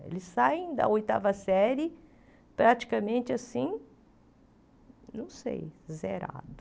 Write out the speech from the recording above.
Eles saem da oitava série praticamente assim, não sei, zerado.